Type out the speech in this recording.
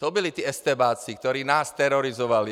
To byli ti estébáci, kteří nás terorizovali!